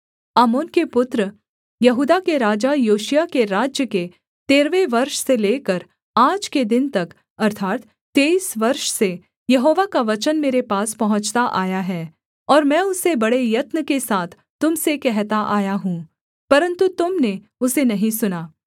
आमोन के पुत्र यहूदा के राजा योशिय्याह के राज्य के तेरहवें वर्ष से लेकर आज के दिन तक अर्थात् तेईस वर्ष से यहोवा का वचन मेरे पास पहुँचता आया है और मैं उसे बड़े यत्न के साथ तुम से कहता आया हूँ परन्तु तुम ने उसे नहीं सुना